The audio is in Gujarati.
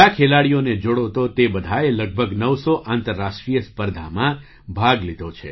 બધા ખેલાડીઓને જોડો તો તે બધાએ લગભગ નવસો આંતરરાષ્ટ્રીય સ્પર્ધામાં ભાગ લીધો છે